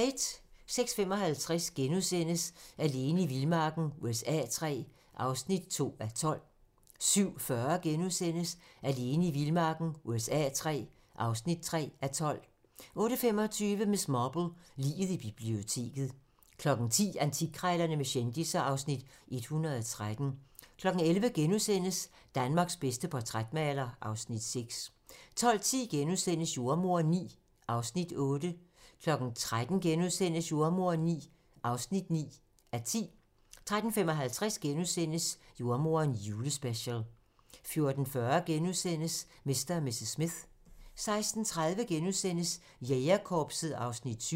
06:55: Alene i vildmarken USA III (2:12)* 07:40: Alene i vildmarken USA III (3:12)* 08:25: Miss Marple: Liget i biblioteket 10:00: Antikkrejlerne med kendisser (Afs. 113) 11:00: Danmarks bedste portrætmaler (Afs. 6)* 12:10: Jordemoderen IX (8:10)* 13:00: Jordemoderen IX (9:10)* 13:55: Jordemoderen: Julespecial * 14:40: Mr. & Mrs. Smith * 16:30: Jægerkorpset (Afs. 7)*